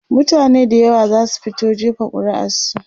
mutane da yawa zasu fito jefa ƙuri'ar su